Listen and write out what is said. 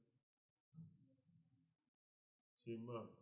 ਛੇਵਾਂ।